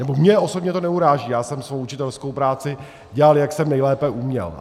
Nebo mě osobně to neuráží, já jsem svou učitelskou práci dělal, jak jsem nejlépe uměl.